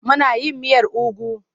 Muna yin miyar ugu.